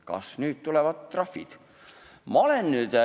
Kas nüüd tulevad trahvid?